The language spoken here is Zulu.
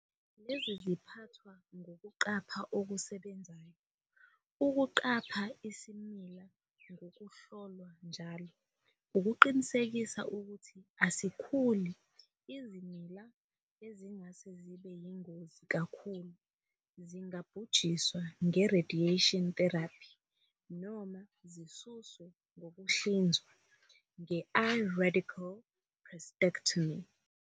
Lezi ziphathwa ngokuqapha okusebenzayo, ukuqapha isimila ngokuhlolwa njalo ukuqinisekisa ukuthi asikhuli. Izimila ezingase zibe yingozi kakhulu zingabhujiswa nge-radiation therapy noma zisuswe ngokuhlinzwa nge-I-radical prostatectomy.